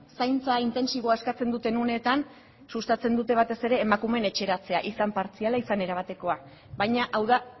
zaintza intentsiboa eskatzen duten uneetan sustatzen dute batez ere emakumeen etxeratzea izan partziala izan erabatekoa baina hau da